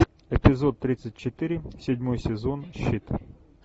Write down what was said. эпизод тридцать четыре седьмой сезон щит